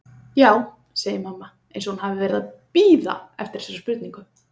Já, segir mamma eins og hún hafi verið að bíða eftir þessari spurningu.